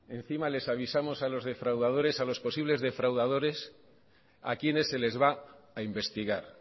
encima les avisamos a los defraudadores a los posibles defraudadores a quienes se les va a investigar